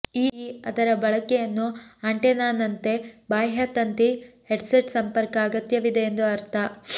ಈ ಅದರ ಬಳಕೆಯನ್ನು ಆಂಟೆನಾನಂತೆ ಬಾಹ್ಯ ತಂತಿ ಹೆಡ್ಸೆಟ್ ಸಂಪರ್ಕ ಅಗತ್ಯವಿದೆ ಎಂದು ಅರ್ಥ